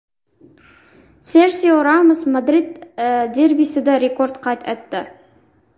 Serxio Ramos Madrid derbisida rekord qayd etdi.